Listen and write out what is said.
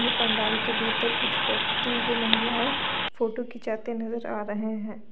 ये पंडाल के भीतर कुछ व्यक्ति व महिलाए फोटो खिचाते नजर आ रहे हैं।